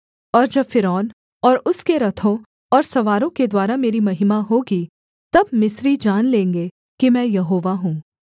और जब फ़िरौन और उसके रथों और सवारों के द्वारा मेरी महिमा होगी तब मिस्री जान लेंगे कि मैं यहोवा हूँ